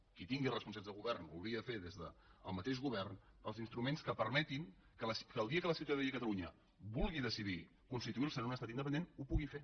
qui tingui responsabilitats de govern ho hauria de fer des del mateix govern els instruments que permetin que el dia que la ciutadania de catalunya vulgui decidir constituir se en un estat independent ho pugui fer